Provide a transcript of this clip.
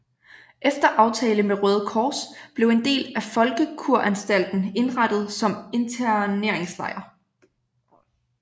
Efter aftale med Røde Kors blev en del af Folkekuranstalten indrettet som interneringslejr